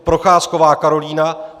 Procházková Karolína